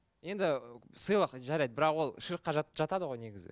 енді сыйлық жарайды бірақ ол ширкке жатады ғой негізі